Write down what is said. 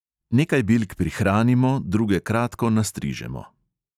Nekaj bilk prihranimo, druge kratko nastrižemo.